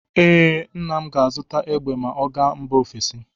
Ee, nna m ga-azụta egbe ma ọ gaa mba ofesi.